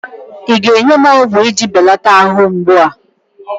ị ga-enye m ọgwụ iji belata arụ mgbu a?